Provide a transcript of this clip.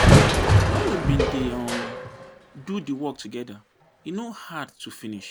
Wen we bin dey um do di work togeda, e no hard to finish.